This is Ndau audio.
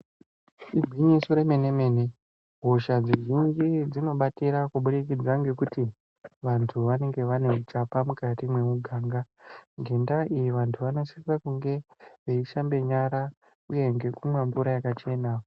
Igwinyiso remene mene hosha dzizhinji dzinobatira kuburikidza ngekuti vantu vanenge vaneuchapa mukati mwemuganga. Ngenda iyi vanosise kunge veishambe nyara veimwe mvura yakachena.